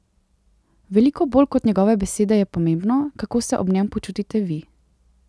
Veliko bolj kot njegove besede je pomembno, kako se ob njem počutite vi.